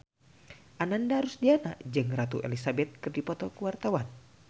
Ananda Rusdiana jeung Ratu Elizabeth keur dipoto ku wartawan